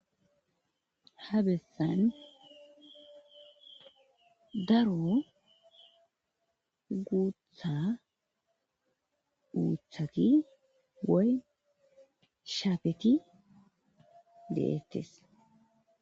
ha bessan daro guutha mithaki woy shaafeti deettes